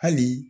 Hali